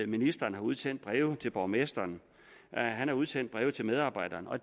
ministeren har udsendt breve til borgmestre har udsendt breve til medarbejdere og